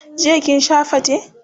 jiya kin Sha fate?